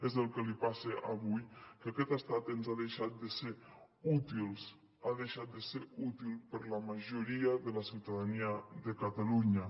és el que li passa avui que aquest estat ha deixat de ser útil ha deixat de ser útil per a la majoria de la ciutadania de catalunya